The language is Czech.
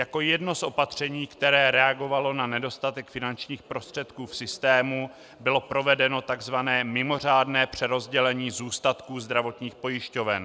Jako jedno z opatření, které reagovalo na nedostatek finančních prostředků v systému, bylo provedeno tzv. mimořádné přerozdělení zůstatků zdravotních pojišťoven.